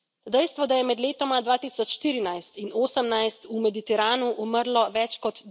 Dejstvo, da je med letoma 2014 in 18 v Mediteranu umrlo več kot